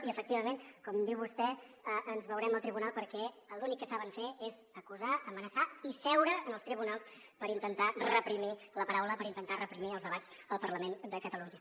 i efectivament com diu vostè ens veurem al tribunal perquè l’únic que saben fer és acusar amenaçar i seure als tribunals per intentar reprimir la paraula per intentar reprimir els debats al parlament de catalunya